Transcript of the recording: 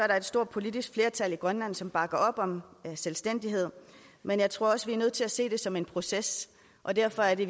der et stort politisk flertal i grønland som bakker op om selvstændighed men jeg tror også vi er nødt til at se det som en proces og derfor er det